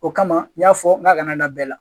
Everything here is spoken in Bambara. O kama n y'a fɔ n k'a kana da bɛɛ la